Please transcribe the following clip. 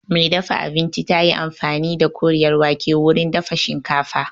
Mai dafa abincin tayi amfani da Koriyar wake wurin dafa shinkafa